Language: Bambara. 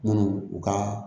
Minnu u ka